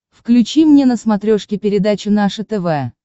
включи мне на смотрешке передачу наше тв